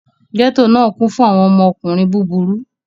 Gẹto náà kún fún àwọn ọmọkùnrin búburú.